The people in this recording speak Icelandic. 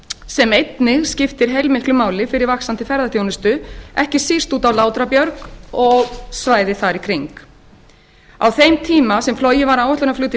sem einnig skiptir heilmiklu máli fyrir vaxandi ferðaþjónustu ekki síst út á látrabjarg og svæðið þar í kring á þeim tíma sem flogið var áætlunarflug til